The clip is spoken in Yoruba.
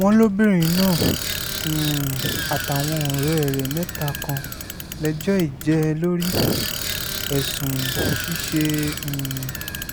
wọ́n lóbìnrin náà um àtàwọn ọ̀rẹ́ rẹ̀ mẹ́ta kan lẹ́jọ́ í jẹ́ lórí ẹ̀sùn ṣíṣe um